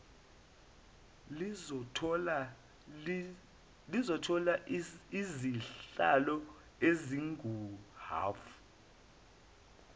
lizothola izihlalo ezinguhhafu